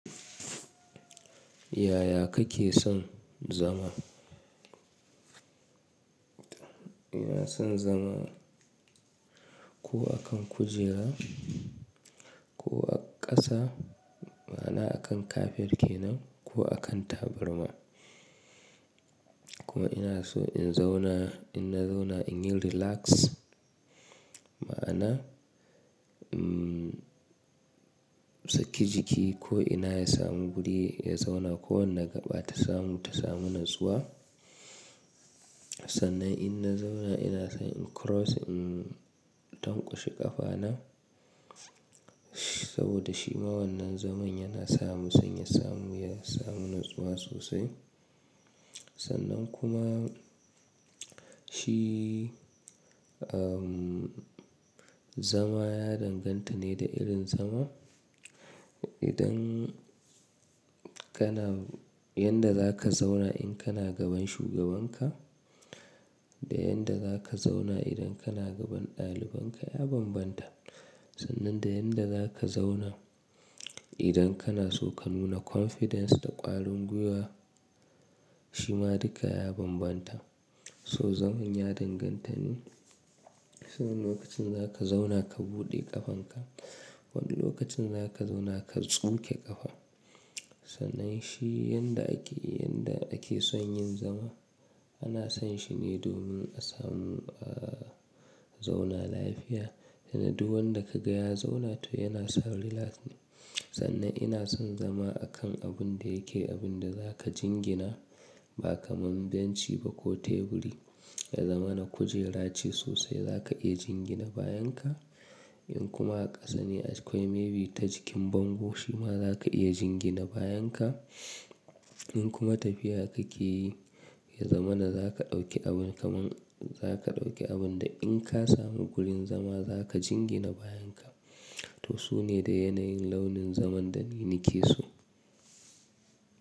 Yaya kake son zama? Ina son zama ko a kan kujera ko a ƙasa, ma'ana a kan kafet kenan ko a kan tabarma. Kuma ina so in zauna, in na zauna in yi relax, ma'ana, umm, saki jiki ko ina ya samu wuri ya zauna ko wanda gaɓa ta samu, ta samu natsuwa. Sannan in na zauna ina son in cross, in tankwashe ƙafana. Saboda shi ma wannan zaman yana samu sanya samu ya samu natsuwa sosai. Sannan kuma shi, umm, zama ya danganta ne da irin zama. Idan kana-- yanda za ka zauna in kana gaban shugabanka da yanda za ka zauna idan kana gaban ɗalibanka ya bambanta. Sannan da yanda za ka zauna idan kana so ka nuna confidence da ƙwarin gwiwa shi ma duka ya bambanta. To zaman ya danganta ne, saboda lokacin za ka zauna ka buɗe ƙafanka, wani lokacin za ka zauna ka tsuke ƙafa. Sannan shi yanda ake, yanda ake son yin zama ana san shi ne domin a samu, ahh, zauna lafiya. Kenan duk wanda ka ga ya zauna toh yana sa relax ne. Sannan ina son zama a kan abun da yake abun da za ka jingina ba kamar benci ba ko teburi. Ya zamana kujera ce sosai za ka iya jingina bayan ka. In kuma a ƙasa ne akwai maybe ta jikin bango shi ma za ka iya jingina bayan ka. In kuma tafiya kake yi, ya zama na za ka ɗauki abin kamar, za ka ɗauki abun da in ka samu wurin zama za ka jingina bayan ka. To su ne da yanayin launin zaman da ni nake so.